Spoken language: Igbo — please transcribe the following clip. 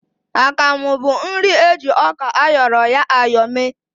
Akamụ bụ nri eji ọka áyọ̀rọ̀ ya áyọ̀ mee